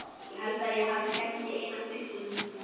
Ég held að ég hafi séns í eina í frystihúsinu.